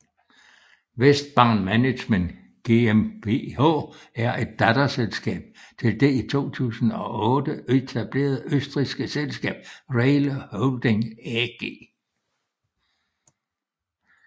WESTbahn Management GmbH er et datterselskab til det i 2008 etablerede østrigske selskab RAIL Holding AG